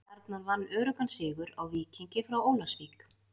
Stjarnan vann öruggan sigur á Víkingi frá Ólafsvík.